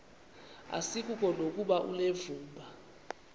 asikuko nokuba unevumba